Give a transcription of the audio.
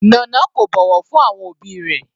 Nana kò bọ̀wọ̀ fún àwọn òbí rẹ̀.